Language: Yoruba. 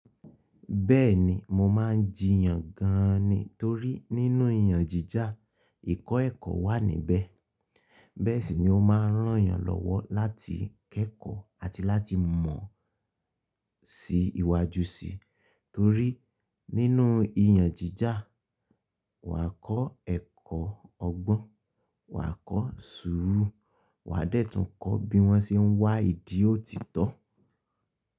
Bẹ́ẹ̀ni, mo máa ń jiyan gan-an ni torí nínú ìyànjija ẹ̀kọ́ wà níbẹ̀. Bẹ́ẹ̀ sì ni ó máa ń ràn eeyan lọ́wọ́ láti kẹ́kọ̀ọ́ àti láti mọ̀ sí ìwà ju sí, torí nínú ìyànjìjà, wà á kọ́ ẹ̀kọ́ ọgbọ́n, wà á kọ́ sùúrù, wà á dẹ́tùn kọ́ bí wọ́n ṣe ń wá ìdí òtítọ́